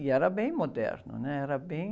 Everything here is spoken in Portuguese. E era bem moderno, né? Era bem...